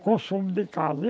O consumo de casa.